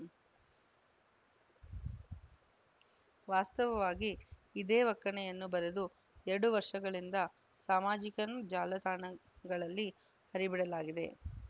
ವಾಸ್ತವವಾಗಿ ಇದೇ ಒಕ್ಕಣೆಯನ್ನು ಬರೆದು ಎರಡು ವರ್ಷಗಳಿಂದ ಸಾಮಾಜಿಕ ಜಾಲತಾಣಗಳಲ್ಲಿ ಹರಿಬಿಡಲಾಗಿದೆ